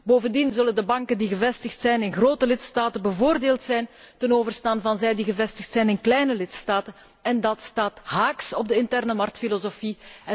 Bovendien zullen de banken die gevestigd zijn in grote lidstaten bevoordeeld zijn ten overstaan van banken gevestigd in kleine lidstaten en dat staat haaks op de interne marktfilosofie